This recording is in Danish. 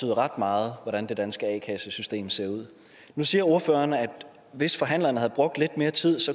det ret meget hvordan det danske a kassesystem ser ud nu siger ordføreren at hvis forhandlerne havde brugt lidt mere tid